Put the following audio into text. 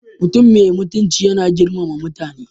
Mutum mai mutunci yana girmama mutane.